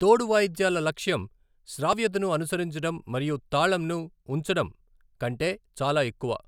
తోడు వాయిద్యాల లక్ష్యం శ్రావ్యతను అనుసరించడం మరియు తాళంను ఉంచడం కంటే చాలా ఎక్కువ.